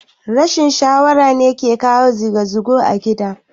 Rashin shara ne yake kawo gizo gizo a gida